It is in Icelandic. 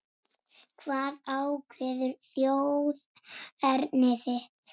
Hvað ákveður þjóðerni þitt?